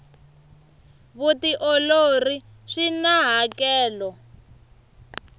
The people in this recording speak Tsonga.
vutiolori swina hakelo